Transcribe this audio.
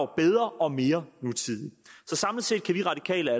bedre og mere nutidig